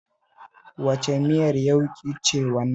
Wace miyar yauƙi ce wannan?